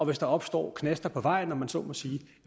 hvis der opstår knaster på vejen om man så må sige